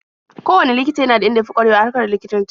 Kowanne likita yana da inda ya fi ƙwarewa a harkar likitanci.